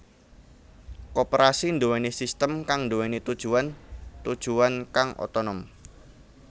Koperasi nduwèni sistem kang nduwèni tujuwan tujuwan kang otonom